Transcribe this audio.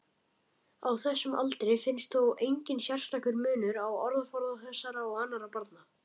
Á þessum aldri finnst þó enginn sérstakur munur á orðaforða þessara og annarra barna.